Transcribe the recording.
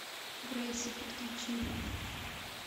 грейси подключи